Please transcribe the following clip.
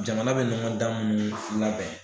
Jamana me be ɲɔgɔndan mun labɛn